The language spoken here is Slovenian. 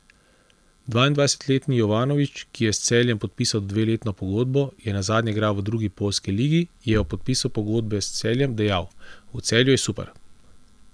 Dvaindvajsetletni Jovanović, ki je s Celjem podpisal dveletno pogodbo, je nazadnje igral v drugi poljski ligi, je ob podpisu pogodbe s Celjem dejal: 'V Celju je super.